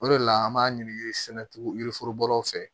O de la an b'a ɲini sɛnɛ yiriforo bɔlaw fɛ